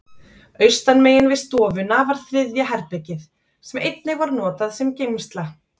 Austanmegin við stofuna var þriðja herbergið, sem einnig var notað sem geymsla.